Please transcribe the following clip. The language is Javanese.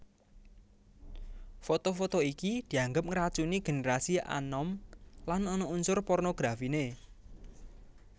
Foto foto iki dianggep ngracuni génerasi anom lan ana unsur pornografiné